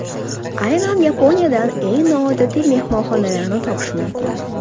Aynan Yaponiyadan eng noodatiy mehmonxonalarni topish mumkin.